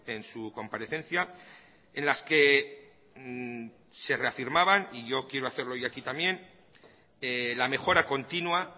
en su comparecencia en las que se reafirmaban y yo quiero hacerlo hoy aquí también la mejora continua